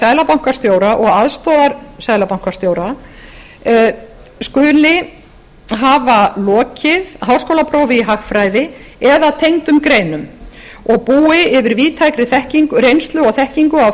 seðlabankastjóra og aðstoðarseðlabankastjóra skuli hafa lokið háskólaprófi í hagfræði eða tengdum greinum og búi yfir víðtækri reynslu og þekkingu á